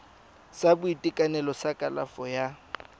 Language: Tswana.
sa boitekanelo sa kalafo ya